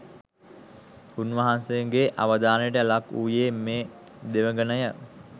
උන්වහන්සේගේ අවධානයට ලක් වූයේ මේ දෙවඟනය.